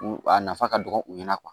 A nafa ka dɔgɔ u ɲɛna